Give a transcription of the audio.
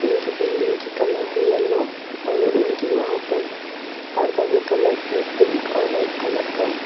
और इनकी बिल्डिंग की कलर है येलो और उनके वहां पर पर्दा कलर है पिंक और व्हाईट कलर ।